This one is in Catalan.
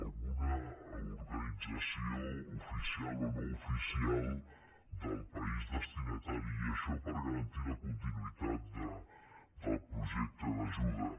alguna organització oficial o no oficial del país destinatari i això per garantir la continuïtat del projecte d’ajuda